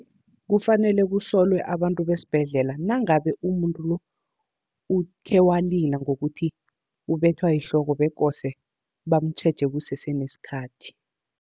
Kufanele kusolwe abantu besibhedlela, nangabe umuntu lo ukhe walila ngokuthi ubethwa yihloko, bekose bamutjheje kusese nesikhathi.